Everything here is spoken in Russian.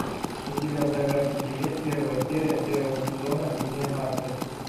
у тебя в загашнике есть первая серия первого сезона линия марты